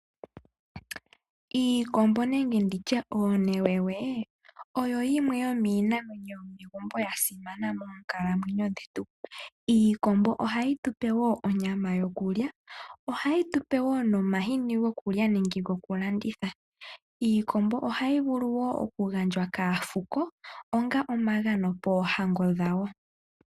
Iikombo nande nditye oonewe oyo yimwe yomiinamwenyo yomegumbo yasimana monkalamwenyo dhetu. Iikombo ohayi tupe onyama yokulya ohayi tupe woo omahini gokulya nokulanditha. Iikombo ohayi vulu oku gandjwa kaafuko onga omagano poohango dhawo.